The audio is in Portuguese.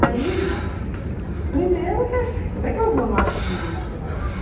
Aí, primeiro que assim, como é que eu vou no arquivo histórico?